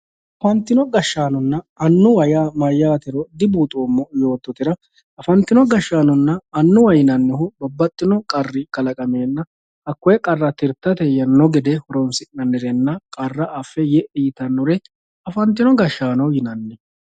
Afantino gashshaanonna annuwa maatiro dibuuxoommo yoottotera afantino gashshaanonna annuwa babbaxxino qarri kalaqamenna hakkoe qarra tirtano gede hasi'nannirenna qarra affe ye"e ytanore afantino gashshaano yinanni.